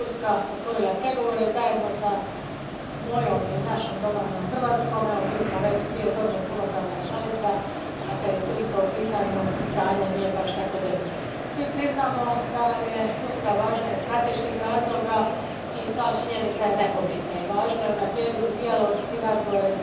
Gospođo predsjednice, prošlo je deset otkad je Turska otvorila pregovore zajedno s mojom, ili našom, domovinom Hrvatskom. Evo mi smo već dvije godine punopravna članica, a kad je Turska u pitanju stanje nije baš tako dobro. Svi priznajemo da nam je Turska važna iz strateških razloga i ta činjenica je nepobitna, i važno je unaprijediti dijalog i razgovore